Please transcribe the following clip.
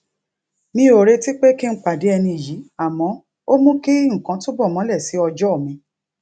mi ò retí pé kí n pàdé ẹni yìí àmọ ó mú kí nǹkan túbọ mole si ojo mi